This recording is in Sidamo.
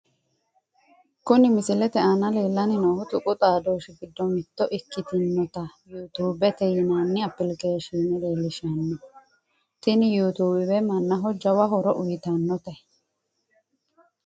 Kuni misilete aana leellanni noohu tuqu xaadooshshi giddo mitte ikkitinota yuutuubete yinani appilikeeshiine leelishshanno, tini yuutuube mannaho jawa horo uyiitannote.